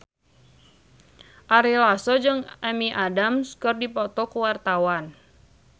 Ari Lasso jeung Amy Adams keur dipoto ku wartawan